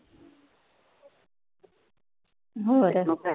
ਹੋਰ